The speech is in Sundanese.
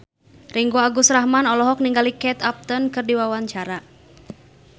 Ringgo Agus Rahman olohok ningali Kate Upton keur diwawancara